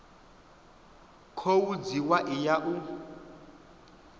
khou dzhiwa i ya u